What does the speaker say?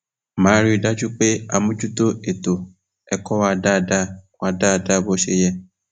má a rí i dájú pé a mójútó ètò ẹkọ wa dáadáa wa dáadáa bó ṣe yẹ